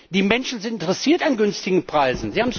Die Menschen sind interessiert an günstigen Preisen.